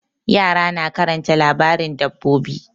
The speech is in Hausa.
Yara na karanta labarin dabbobi.